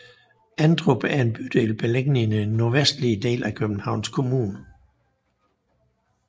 Emdrup er en bydel beliggende i den nordvestlige del af Københavns Kommune